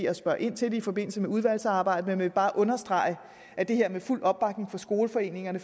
at spørge ind til det i forbindelse med udvalgsarbejdet men jeg vil bare understrege at det her er med fuld opbakning fra skoleforeningerne